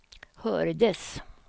hördes